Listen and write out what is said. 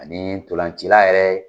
Ani tolancila yɛrɛ